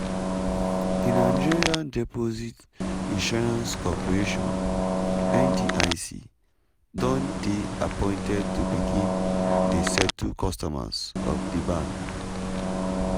di nigeria deposit insurance corporation (ndic) don dey appointed to begin dey settle customers of di bank.